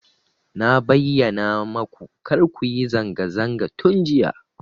Fa bayyana maku kar ku yi zanga zanga tun jiya.